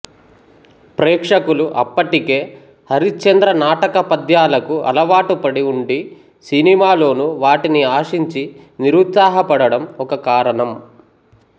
ప్రేక్షకులు అప్పటికే హరిశ్చంద్ర నాటక పద్యాలకు అలవాటు పడి ఉండి సినిమాలోనూ వాటిని ఆశించి నిరుత్సాహపడడం ఒక కారణం